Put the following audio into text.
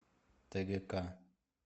тгк